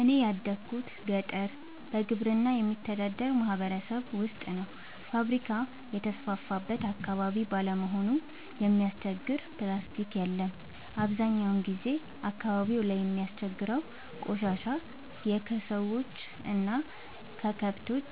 እኔ ያደጉት ገጠር በግብርና በሚተዳደር ማህበረሰብ ውስጥ ነው። ፋብሪካ የተስፋፋበት አካባቢ ባለመሆኑ የሚያስቸግር ፕላስቲ የለም አብዛኛውን ጊዜ አካባቢው ላይ የሚያስቸግረው ቆሻሻ የከሰዎች እና ከከብቶች